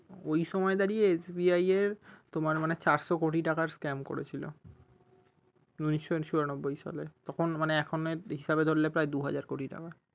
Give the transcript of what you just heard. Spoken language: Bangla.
ঐ সময় দাঁড়িয়ে SBI এর তোমার মানে চারশো কোটি টাকার scame করেছিলো উনিশশো চুরানব্বই সালে তখন মানে এখনের হিসাবের এ ধরলে প্রায় দুই হাজার কোটি টাকা